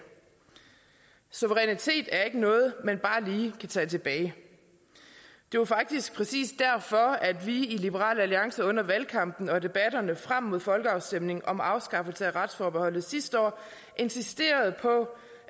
suverænitet er ikke noget man bare lige kan tage tilbage det var faktisk præcis derfor at vi i liberal alliance under valgkampen og i debatterne frem mod folkeafstemningen om afskaffelsen af retsforbeholdet sidste år insisterede på